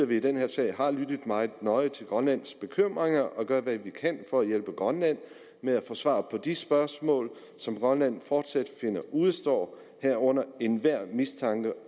vi i den her sag har lyttet meget nøje til grønlands bekymringer og gør hvad vi kan for at hjælpe grønland med at få svar på de spørgsmål som grønland finder fortsat udestår herunder enhver mistanke